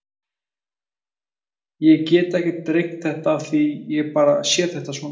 Ég get ekkert rengt þetta af því ég bara sé þetta svona.